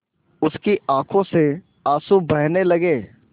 उसकी आँखों से आँसू बहने लगे